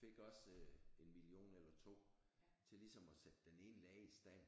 Fik også 1 million eller 2 til ligesom at sætte den ene lade i stand